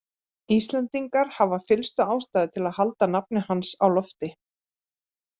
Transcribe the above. Íslendingar hafa fyllstu ástæðu til að halda nafni hans á lofti.